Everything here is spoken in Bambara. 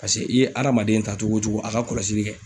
Paseke, i ye adamaden ta cogo o cogo a ka kɔlɔsili kɛ.